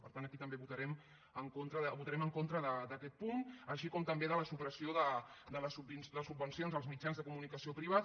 per tant aquí també votarem en contra d’aquest punt així com també de la supressió de les subvencions als mitjans de comunicació privats